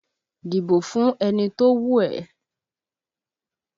Dìbò fún ẹni tó wù ẹ́